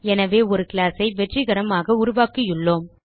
எனவே ஒரு classஐ வெற்றிகரமாக உருவாக்கியுள்ளோம்